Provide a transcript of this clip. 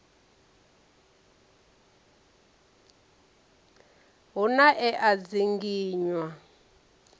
hu na e a dzinginywa